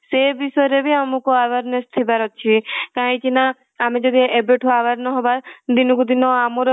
ସେ ବିଷୟ ରେ ବି ଆମକୁ awareness ଥିବା ର ଅଛି କାହିଁକି ନା ଆମେ ଯଦି ଏବେ ଠୁ aware ନ ହବା ଦିନ କୁ ଦିନ ଆମର ବି